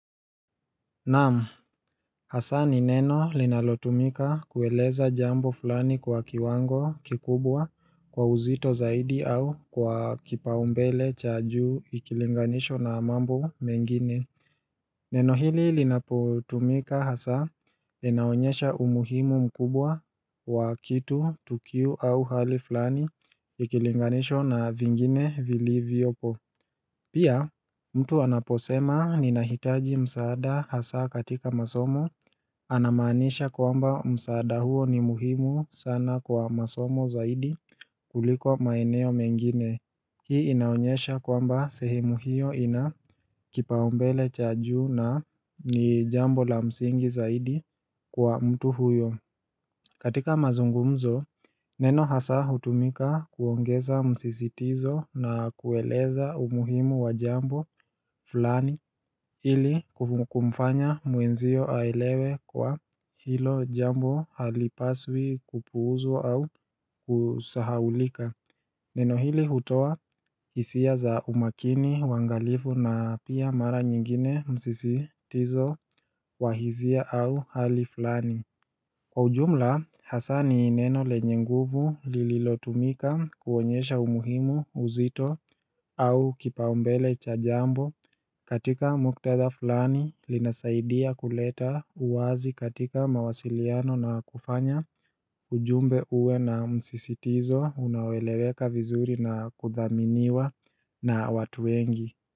Naam hasa ni neno linalotumika kueleza jambo fulani kwa kiwango kikubwa kwa uzito zaidi au kwa kipau mbele cha juu ikilinganishwa na mambo mengine Neno hili linapotumika hasa linaonyesha umuhimu mkubwa wa kitu tukio au hali fulani ikilinganishwa na vingine vilivyopo Pia mtu anaposema ninahitaji msaada hasa katika masomo Anamaanisha kwamba msaada huo ni muhimu sana kwa masomo zaidi kuliko maeneo mengine Hii inaonyesha kwamba sehemu hiyo inakipau mbele cha juu na ni jambo la msingi zaidi kwa mtu huyo katika mazungumzo, neno hasa hutumika kuongeza msisitizo na kueleza umuhimu wa jambo fulani ili kumfanya mwenzio aelewe kwa hilo jambo halipaswi kupuuzwa au kusahaulika Neno hili hutoa hisia za umakini uangalifu na pia mara nyingine msisitizo wa hisia au hali fulani Kwa ujumla hasa ni neno lenye nguvu lililotumika kuonyesha umuhimu uzito au kipau mbele cha jambo katika muktadha fulani linasaidia kuleta uwazi katika mawasiliano na kufanya ujumbe uwe na msisitizo unaoeleweka vizuri na kudhaminiwa na watu wengi.